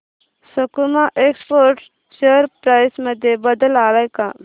सकुमा exports share price मध्ये बदल आलाय का